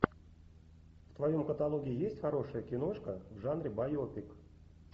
в твоем каталоге есть хорошая киношка в жанре байопик